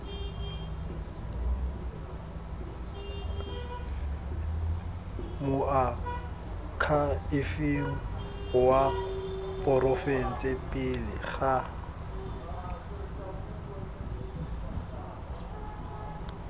moakhaefeng wa porofense pele ga